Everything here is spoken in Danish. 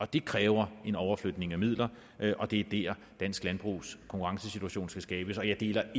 det kræver en overflytning af midler og det er der dansk landbrugs konkurrenceevne skal skabes jeg deler